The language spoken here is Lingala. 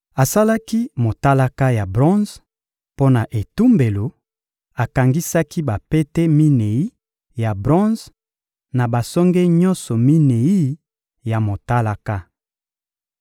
Asalaki motalaka ya bronze mpo na etumbelo; akangisaki bapete minei ya bronze na basonge nyonso minei ya motalaka.